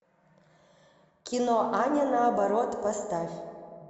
кино а не наоборот поставь